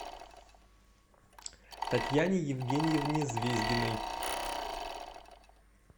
татьяне евгеньевне звездиной